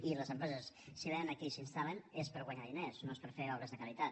i les empreses si vénen aquí i s’hi instal·len és per guanyar diners no és per fer obres de caritat